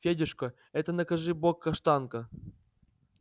федюшка это накажи бог каштанка